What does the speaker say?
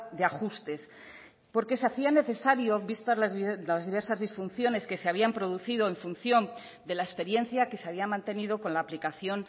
de ajustes porque se hacía necesario vistas las diversas disfunciones que se habían producido en función de la experiencia que se había mantenido con la aplicación